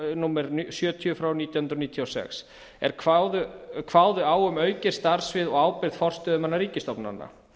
númer sjötíu nítján hundruð níutíu og sex er kváðu á um aukið starfssvið og ábyrgð forstöðumanna ríkisstofnana